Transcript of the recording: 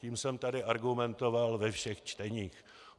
Tím jsem tady argumentoval ve všech čteních.